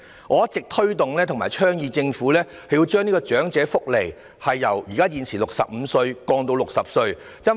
我一直推動和倡議，政府應將長者福利的受惠年齡門檻由現時的65歲下調至60歲。